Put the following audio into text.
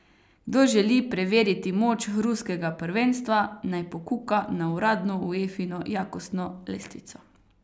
Kdor želi preveriti moč ruskega prvenstva, naj pokuka na uradno Uefino jakostno lestvico.